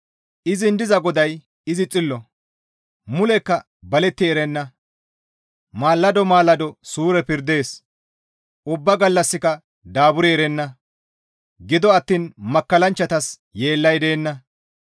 Izin diza GODAY izi xillo. Mulekka baletti erenna; maalado maalado suure pirdees; ubbaa gallassika daaburi erenna; gido attiin makkallanchchatas yeellay deenna.